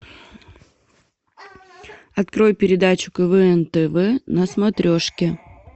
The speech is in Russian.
открой передачу квн тв на смотрешке